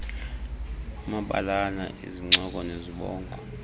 amabalana izincoko nezibongo